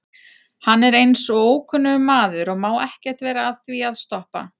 Hann er eins og ókunnugur maður og má ekkert vera að því að stoppa.